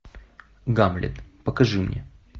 гамлет покажи мне